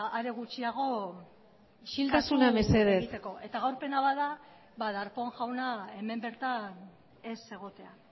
are gutxiago kasu egiteko isiltasuna mesedez eta gaur pena bat da ba darpón jauna hemen bertan ez egotea